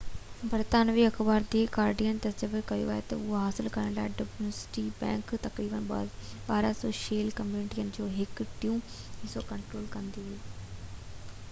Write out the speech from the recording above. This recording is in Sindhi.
برطانوي اخبار دي گارڊين تجويز ڪئي ته اهو حاصل ڪرڻ لاءِ ڊيوٽشي بينڪ تقريبن 1200شيل ڪمپنين جو هڪ ٽيون حصو ڪنٽرول ڪندي هئي